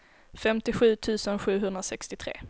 femtiosju tusen sjuhundrasextiotre